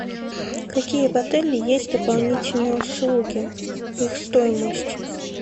какие в отеле есть дополнительные услуги их стоимость